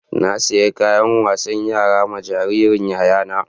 Na saƴi kayan wasan yara ma jaririn yayana.